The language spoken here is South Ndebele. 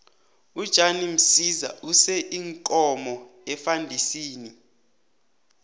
ujan msiza use iinkomo efandisini